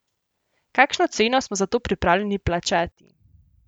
Kakšno ceno smo za to pripravljeni plačati?